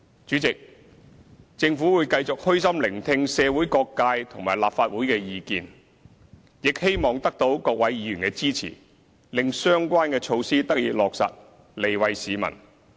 主席，政府會繼續虛心聆聽社會各界和立法會的意見，亦希望得到各位議員的支持，令相關的措施得以落實，利惠市民。